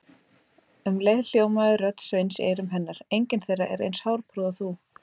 Um leið hljómaði rödd Sveins í eyrum hennar: engin þeirra er eins hárprúð og þú